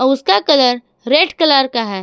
उसका colour red colour का है।